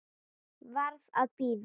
Varð að bíða.